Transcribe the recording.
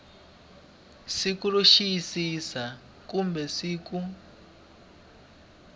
siku ro xiyisisa kumbe siku